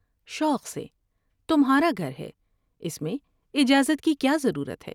شوق سے تمھا را گھر ہے ، اس میں اجازت کی کیا ضرورت ہے ۔